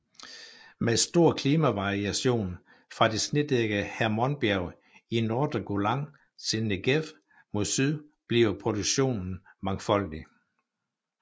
Med stor klimavariation fra det snedækkede Hermonbjerg i nordre Golan til Negev mod syd bliver produktionen mangfoldig